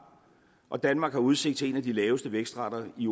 og danmark har udsigt til en af de laveste vækstrater i